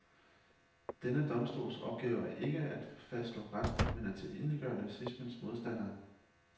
Denne domstols opgave er ikke at fastslå ret, men at tilintetgøre nazismens modstandere.